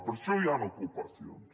per això hi han ocupacions